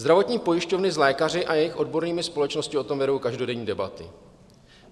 Zdravotní pojišťovny s lékaři a jejich odbornými společnostmi o tom vedou každodenní debaty.